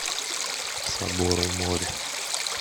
собор у моря